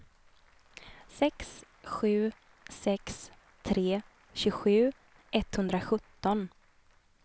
sex sju sex tre tjugosju etthundrasjutton